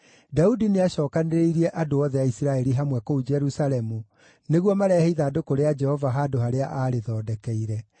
Daudi nĩacookanĩrĩirie andũ othe a Isiraeli hamwe kũu Jerusalemu nĩguo marehe ithandũkũ rĩa Jehova handũ harĩa aarĩthondekeire.